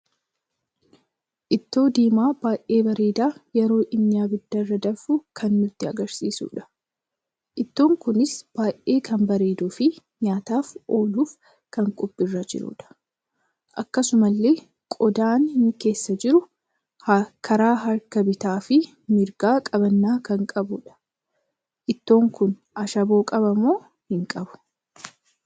Ittoo diimaa baay'ee bareeda yeroo inni abidda irra danfuu kan nutti argarsiisuudha. Ittoon kunis baay'ee kan bareeduu fi nyaataaf ooluuf kan qophiirra jirudha. Akkasumallee qodaanni keessa jiru karaa harkaa bitaa fi mirgaa qabanna kan qabudha. Ittoon kun Ashaaboo qabamo hin qabu?